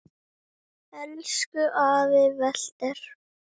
Elsku afi Walter.